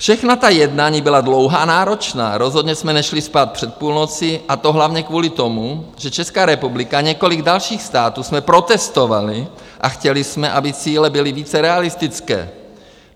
Všechna ta jednání byla dlouhá a náročná, rozhodně jsme nešli spát před půlnocí, a to hlavně kvůli tomu, že Česká republika a několik dalších států jsme protestovali a chtěli jsme, aby cíle byly více realistické.